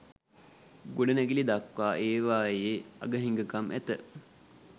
ගොඩනැගිලි දක්වා ඒවායේ අග හිඟකම් ඇත.